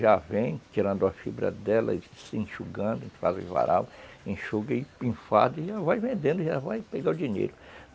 Já vem tirando a fibra dela e se enxugando, em fazer varal, enxuga e enfada e já vai vendendo, já vai pegando o dinheiro.